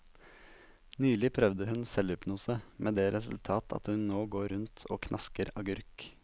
Nylig prøvde hun selvhypnose, med det resultat at hun nå går rundt og knasker agurk.